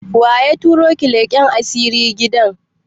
Waya ta roki leƙan asiri gidan?